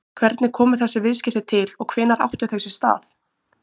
Hvernig komu þessi viðskipti til og hvenær áttu þau sér stað?